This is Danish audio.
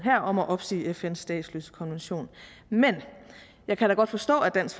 om at opsige fns statsløsekonvention men jeg kan da godt forstå at dansk